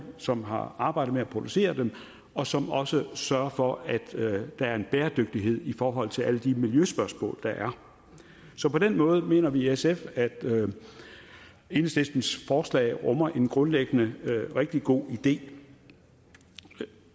som har arbejdet med at producere dem og som også sørger for at der er bæredygtighed i forhold til alle de miljøspørgsmål der er så på den måde mener vi i sf at enhedslistens forslag rummer en grundlæggende rigtig god idé